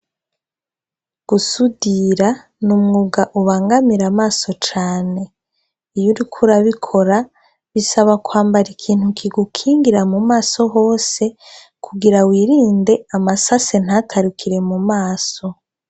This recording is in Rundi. Gusudira n'umwuga ubangamira amaso cane, iyo uriko urabikora, bisaba kwambara ikintu kigukingira mu maso hose, kugira wirinde amasase ntatarukire mu maso.